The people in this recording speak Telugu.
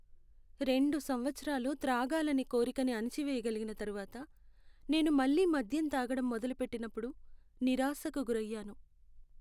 రెండు సంవత్సరాలు త్రాగాలనే కోరికని అణిచివేయగలిగిన తర్వాత నేను మళ్ళి మద్యం తాగడం మొదలుపెట్టినప్పుడు నిరాశకు గురయ్యాను.